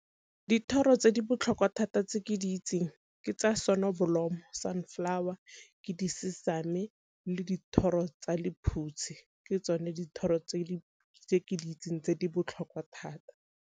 Dithoro tse di botlhokwa thata tse ke di itseng ke tsa sonobolomo, sunflower, ke , le dithoro tsa lephutshi. Ke tsone dithoro tse ke di itseng tse di botlhokwa thata.